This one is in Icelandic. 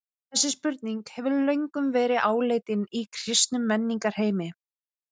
Þessi spurning hefur löngum verið áleitin í kristnum menningarheimi.